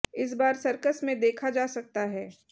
इस बार सर्कस में देखा जा सकता है